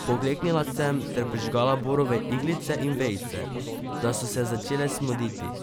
Pokleknila sem ter prižgala borove iglice in vejice, da so se začele smoditi.